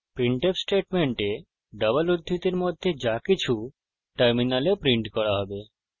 printf স্টেটমেন্টে double উদ্ধৃতির মধ্যে যাকিছু টার্মিনালে প্রিন্ট করা হবে